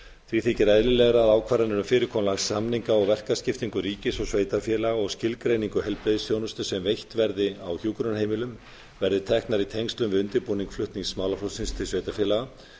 því þykir eðlilegra að ákvarðanir um fyrirkomulag samninga og verkaskiptingu ríkis og sveitarfélaga og skilgreiningu heilbrigðisþjónustu sem veitt verði á hjúkrunarheimilum verði teknar í tengslum við undirbúning flutnings málaflokksins til sveitarfélaga